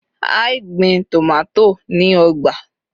a i gbin tomato ni ọgbà